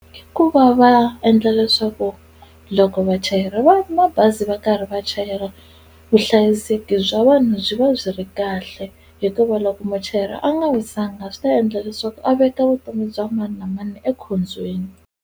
Hikuva va endla leswaku loko vachayeri va mabazi va karhi va chayela vuhlayiseki bya vanhu byi va byi ri kahle hikuva loko muchayeri a nga wisanga swi ta endla leswaku a veka vutomi bya mani na mani ekhombyeni.